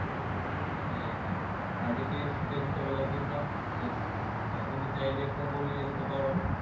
সাদেকে শীতের মুকাবিলার জন্য তুমি চাইলে কম্বলনিয়ে যেতে পারো